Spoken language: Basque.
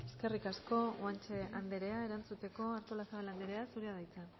eskerrik asko guanche andrea erantzuteko artolazabal andrea zurea da hitza